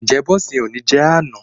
Ǹjẹ́ bọ́ùnsì ni o jẹ ní àná?